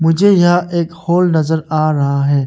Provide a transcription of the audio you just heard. मुझे यहां एक हॉल नजर आ रहा है।